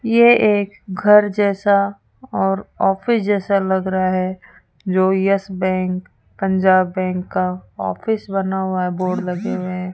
ये एक घर जैसा और ऑफिस जैसा लग रहा है जो यस बैंक पंजाब बैंक का ऑफिस बना हुआ है बोर्ड लगे हुए हैं।